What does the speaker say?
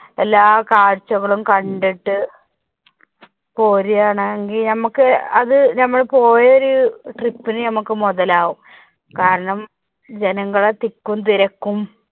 എല്ലാ കാഴ്ചകളും കണ്ടിട്ട് പോരുവാണെങ്കി നമുക്ക് അത് നമ്മള് പോയ ഒരു trip നു നമുക്ക് മുതലാകും. കാരണം ജനങ്ങളുടെ തിക്കും തിരക്കും